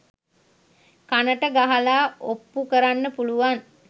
කණට ගහලා ඔප්පු කරන්න පුලුවන්